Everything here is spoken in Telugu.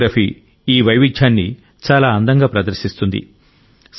కొరియోగ్రఫీ ఈ వైవిధ్యాన్ని చాలా అందంగా ప్రదర్శిస్తుంది